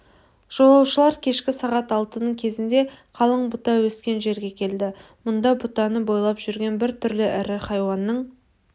жолаушылар кешкі сағат алтының кезінде қалың бұта өскен жерге келді мұнда бұтаны бойлай жүрген бір түрлі ірі хайуанның